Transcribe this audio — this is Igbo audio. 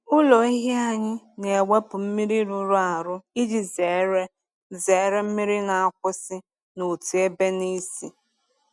Ụlọ ehi anyị na-ewepụ mmiri rụrụ arụ iji zere zere mmiri na-akwụsị n’otu ebe na ísì.